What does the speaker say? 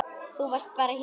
Þú varst bara hér.